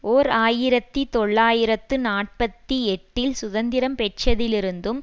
ஓர் ஆயிரத்தி தொள்ளாயிரத்து நாற்பத்தி எட்டில் சுதந்திரம் பெற்றதிலிருந்தும்